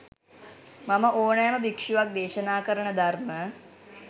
මම ඕනෑම භික්ෂුවක් දේශනා කරන ධර්ම